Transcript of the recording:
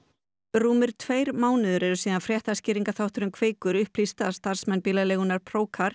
rúmir tveir mánuðir eru síðan fréttaskýringaþátturinn Kveikur upplýsti að starfsmenn bílaleigunnar